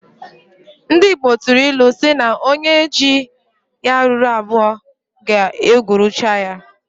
Ndi igbo tụrụ ilu si na onye ji ya ruru abụọ ga egwuruchaya.